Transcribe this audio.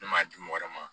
Ne m'a di mɔgɔ wɛrɛ ma